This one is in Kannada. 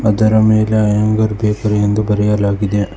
ಅದರ ಮೇಲೆ ಅಯ್ಯಂಗಾರ್ ಬೇಕರಿ ಎಂದು ಬರೆಯಲಾಗಿದೆ.